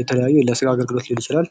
የተለያየ ለስራ አገልግሎት ሊሆን ይችላል።